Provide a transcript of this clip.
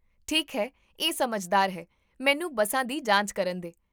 ਠੀਕ ਹੈ, ਇਹ ਸਮਝਦਾਰ ਹੈ, ਮੈਨੂੰ ਬੱਸਾਂ ਦੀ ਜਾਂਚ ਕਰਨ ਦੇ